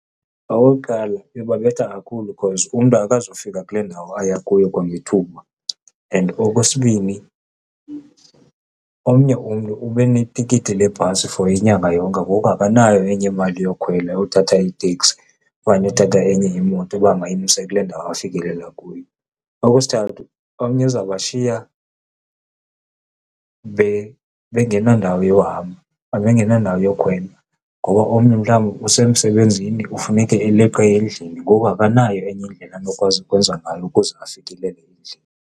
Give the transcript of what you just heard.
Okokuqala, iyobabetha kakhulu cause umntu akazufika kule ndawo ayakuyo kwangethuba and okwesibini, omnye umntu ube netikiti lebhasi for inyanga yonke, ngoko akanayo enye imali yokukhwela yothatha iteksi okanye yokuthatha enye imoto uba mayimse kule ndawo afikelela kuyo. Okwesithathu, omnye izawubashiya bengenandawo yohamba and bengenandawo yokhwela ngoba omnye mhlawumbe usemsebenzini kufuneke eleqe endlini, ngoku akanayo enye indlela azokwazi ukwenza ngayo ukuze afikelele endlini.